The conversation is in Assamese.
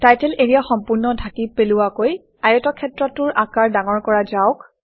টাইটেল এৰিয়া সম্পূৰ্ণ ঢাকি পেলোৱাকৈ আয়তক্ষেত্ৰটোৰ আকাৰ ডাঙৰ কৰা যাওক